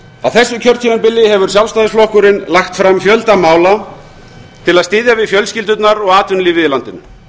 á þessu kjörtímabili hefur sjálfstæðisflokkurinn lagt fram fjölda mála til að styðja við fjölskyldurnar og atvinnulífið í landinu